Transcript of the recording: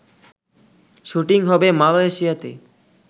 shooting হবে মালয়েশিয়াতে